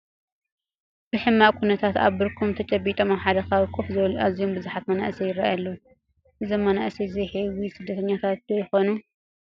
ብሕማቕ ኩነታት ኣብ ብርኮም ተጨቢጦም ኣብ ሓደ ከባቢ ኮፍ ዝበሉ ኣዝዮም ብዙሓት መናእሰይ ይርአዩ ኣለዉ፡፡ እዞም መናእሰይ ዘይሕዊ ስደተኛታት ዶ ይኾኑ?